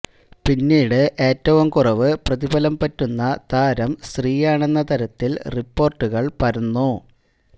പിന്നീട് ഏറ്റവും കുറവ് പ്രതിഫലം പറ്റുന്ന താരം ശ്രീയാണെന്ന തരത്തിൽ റിപ്പോർട്ടുകൾ പരന്നു